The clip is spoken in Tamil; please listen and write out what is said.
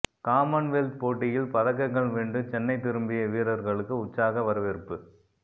காமன்வெல்த் போட்டியில் பதக்கங்கள் வென்று சென்னை திரும்பிய வீரர்களுக்கு உற்சாக வரவேற்பு